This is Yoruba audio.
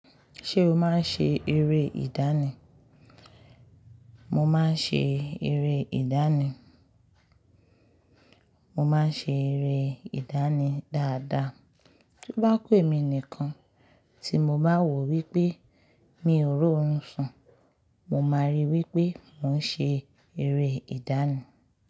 Ṣé o máa ń ṣe eré ìdánì? Mo máa ń ṣe eré ìdánì. Mo máa ń ṣe eré ìdánì dáadáa. Tó bá ku èmi nìkan tí mo bá wòó wípé mi ò r'óorun sùn, mo máa rí wípé mò ń ṣe eré ìdáni.